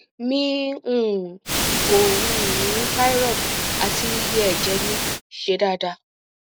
mi um o um ni thyroid ati iye eje mi se daadaa